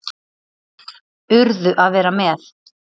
Urðu að vera með